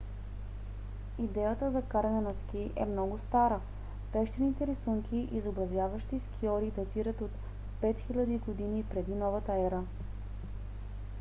идеята за каране на ски е много стара – пещерните рисунки изобразяващи скиори датират от 5000 г. пр.н.е.!